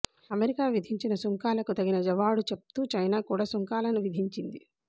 America విధించిన సుంకాలకు తగిన జవాడుచెప్తూ చైనా కూడా సుంకాలను విధించింది